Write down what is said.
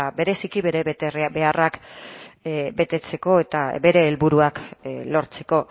bereziki bere betebeharrak betetzeko eta bere helburuak lortzeko